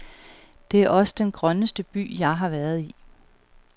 Det er også den grønneste by, jeg har været i.